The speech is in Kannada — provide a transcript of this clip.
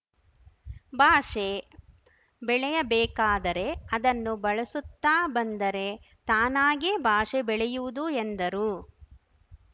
ಭಾಷೆ ಬೆಳೆಯಬೇಕಾದರೆ ಅದನ್ನು ಬಳಸುತ್ತ ಬಂದರೆ ತಾನಾಗೆ ಭಾಷೆ ಬೆಳೆಯುವುದು ಎಂದರು